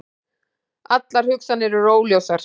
Allar hugsanir eru óljósar.